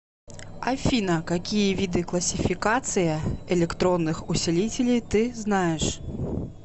афина какие виды классификация электронных усилителей ты знаешь